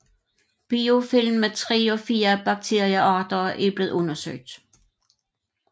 Biofilm med tre og fire bakteriearter er blevet undersøgt